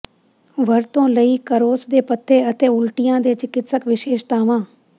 ਵਰਤੋਂ ਲਈ ਕਰੌਸ ਦੇ ਪੱਤੇ ਅਤੇ ਉਲਟੀਆਂ ਦੇ ਚਿਕਿਤਸਕ ਵਿਸ਼ੇਸ਼ਤਾਵਾਂ